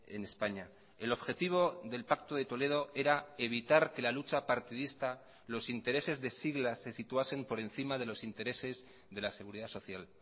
en españa el objetivo del pacto de toledo era evitar que la lucha partidista los intereses de siglas se situasen por encima de los intereses de la seguridad social